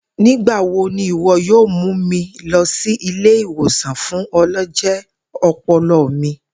Nigbawo ni iwọ yoo mu mi lọ si ile-iwosan fun ọlọjẹ ọpọlọ mi.